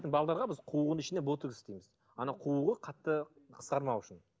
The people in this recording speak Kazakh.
біз қуығының ішіне ботекс істейміз ана қуығы қатты қысқармау үшін